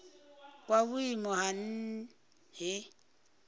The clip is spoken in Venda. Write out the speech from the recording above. kwa vhuimo ha nha he